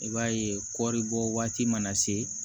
I b'a ye kɔɔri bɔ waati mana se